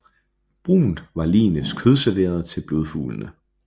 Brunt var ligenes kødserveret til blodfuglene